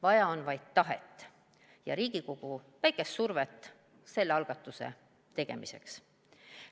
Vaja on vaid tahet ja Riigikogu väikest survet selle algatuse tegemiseks.